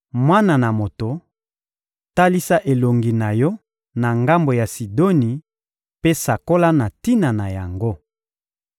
«Mwana na moto, talisa elongi na yo na ngambo ya Sidoni mpe sakola na tina na yango!